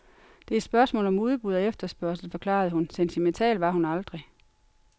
Det er et spørgsmål om udbud og efterspørgsel, forklarede hun, sentimental var hun aldrig.